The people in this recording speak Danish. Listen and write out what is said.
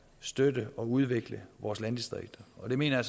støtte og udvikle vores landdistrikter og det mener